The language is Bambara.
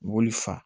Mobili fa